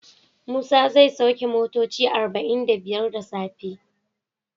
Musa zai sauke motoci arba'in da biyar da safe.